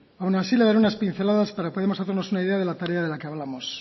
aun así le daré unas pinceladas para que podamos hacernos una idea de la tarea de la que hablamos